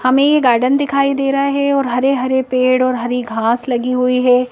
हमें ये गार्डन दिखाई दे रहा है और हरे-हरे पेड़ और हरी घास लगी हुई है।